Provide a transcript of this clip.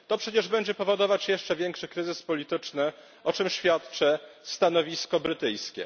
To przecież będzie powodować jeszcze większy kryzys polityczny, o czym świadczy stanowisko brytyjskie.